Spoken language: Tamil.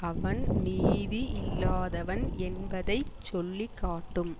அவன் நீதி இல்லாதவன் என்பதை சொல்லி காட்டும்